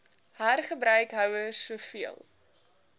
hergebruik houers soveel